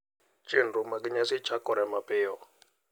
Chenro mar nyasi chakore mapiyo.